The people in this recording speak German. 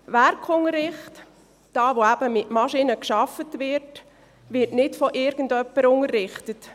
Der Werkunterricht, wo eben mit Maschinen gearbeitet wird, wird nicht von irgendjemandem unterrichtet.